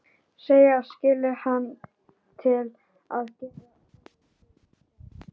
Segist skilja hann til að gera honum til geðs.